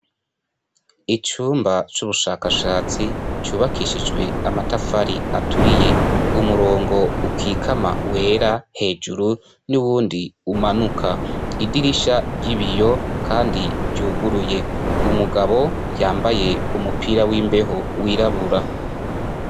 Icumba c'ubushakashatsi cubakishijwe amatafari aturiye umurongo ukikama wera hejuru n'uwundi umanuka idirisha ry'ibiyo, kandi ryuguruye umugabo yambaye umupira w'imbeho wirabura.